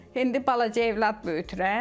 İndi balaca övlad böyüdürəm.